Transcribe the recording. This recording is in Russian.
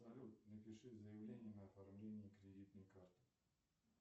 салют напиши заявление на оформление кредитной карты